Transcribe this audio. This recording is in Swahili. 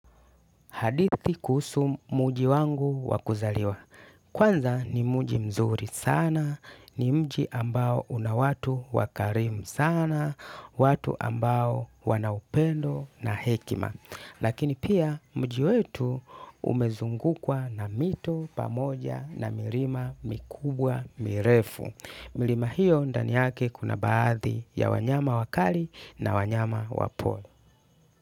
Hadithi kuhusu mji wangu wa kuzaliwa. Kwanza ni mji mzuri sana, ni mji ambao una watu wakarimu sana, watu ambao wana upendo na hekima. Lakini pia mji wetu umezungukwa na mito pamoja na mirima mikubwa mirefu. Milima hiyo ndani yake kuna baadhi ya wanyama wakali na wanyama wapole.